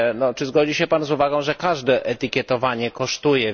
Czy zgodzi się Pan z uwagą, że każde etykietowanie kosztuje?